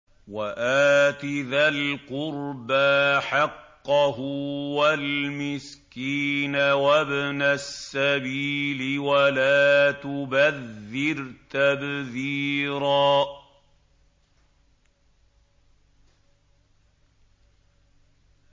وَآتِ ذَا الْقُرْبَىٰ حَقَّهُ وَالْمِسْكِينَ وَابْنَ السَّبِيلِ وَلَا تُبَذِّرْ تَبْذِيرًا